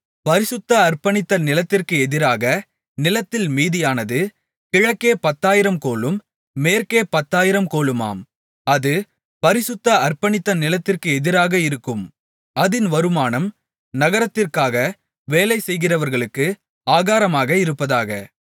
பரிசுத்த அர்ப்பணித்த நிலத்திற்கு எதிராக நீளத்தில் மீதியானது கிழக்கே பத்தாயிரம் கோலும் மேற்கே பத்தாயிரம் கோலுமாம் அது பரிசுத்த அர்ப்பணித்த நிலத்திற்கு எதிராக இருக்கும் அதின் வருமானம் நகரத்திற்காக வேலை செய்கிறவர்களுக்கு ஆகாரமாக இருப்பதாக